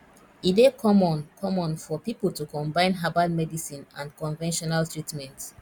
e dey common common for pipo to combine herbal medicine and conventional treatment